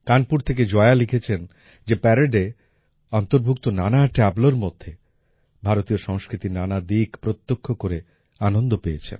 কানপুর থেকে জয়া লিখেছেন যে প্যারেডে অন্তর্ভুক্ত নানা ট্যাবলোর মধ্যে ভারতীয় সংস্কৃতির নানা দিক প্রত্যক্ষ করে আনন্দ পেয়েছেন